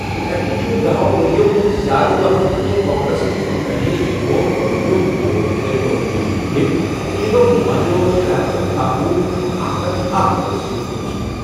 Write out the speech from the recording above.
یہِ ایکٹ چھُ دَہَو ؤرۍ یَو کھۄتہٕ زِیٛادٕ وقتہٕ پٮ۪ٹھٕ کانگریسَس برٛونٛہہ کَنۍ یِنہٕ وول گۄڈٕنیُک بوٚڑ ٹیلی کمیونیکیشن بل، تہٕ یہِ گوٚو جمعہ دۄہ ترے ہتھ اکۄہُ اکھ ہتھ اکھ ووٹَو سۭتۍ منظور